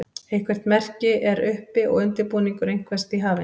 eitthvert merki er uppi og undirbúningur einhvers því hafinn